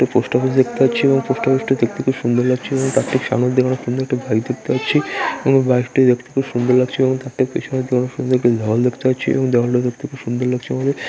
Post office দেখতে পাচ্ছি | এবং পোস্ট অফিস টি দেখতে খুব সুন্দর লাগছে | এবং তার ঠিক সামনের দিকে আমরা সুন্দর একটা বাইক দেখতে পাচ্ছি | এবং বাইক টি দেখতে খুব সুন্দর লাগছে | এবং তার ঠিক পেছনের দিকে আমরা সুন্দর একটি দেয়াল দেখতে পাচ্ছি এবং দেয়াল টি দেখতে খুব সুন্দর লাগছে আমাদের।